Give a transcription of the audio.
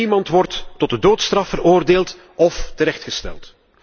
Niemand wordt tot de doodstraf veroordeeld of terechtgesteld.